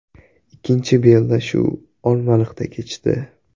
Ikkinchi bellashuv Olmaliqda kechdi.